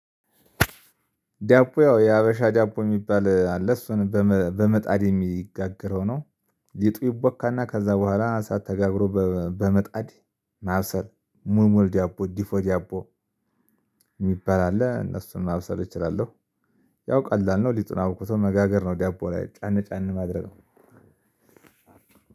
ዳቦ ያው የሀበሻ ዳቦ የሚባል አለ እሱን በመጣድ የሚጋገረው ነው ሊጡ ይበካ እና ከዛ በኋላ አሳት ተጋግሮ በመጣድ ማብስል ሙልሙል ዲያቦ ዲፎ ዲያቦ የሚባል አለ እነሱን ማብሰል እችላለሁ። ያው ቀላል ነው ሊጡን አቡክቶ መጋገር ነው ዲያቦ ላይ ጫን ጫን ማድረግ